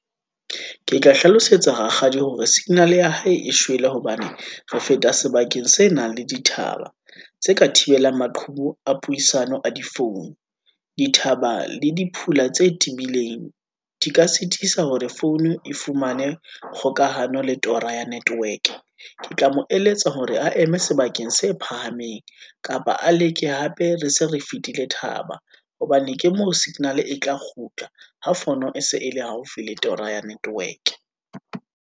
Ke tla hlalosetsa rakgadi hore signal-e ya hae e shwele hobane, re feta sebakeng se nang le dithaba, tse ka thibelang maqhubu a puisano a difounu, dithaba le di phula tse tebileng, di ka sitisa hore founu e fumane kgokahano le tora ya network-e. Ke tla mo eletsa hore a eme sebakeng se phahameng, kapa a leke hape re se re fitile thaba, hobane ke moo signal-e e tla kgutla, ha founu, e se e le haufi le tora ya network-e.